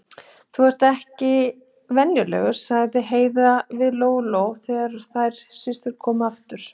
Þú ert ekki venjuleg, sagði Heiða við Lóu-Lóu þegar þær systur komu aftur.